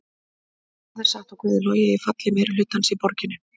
Hvað er satt og hvað er logið í falli meirihlutans í borginni?